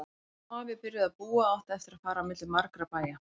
Amma og afi byrjuðu að búa og áttu eftir að fara á milli margra bæja.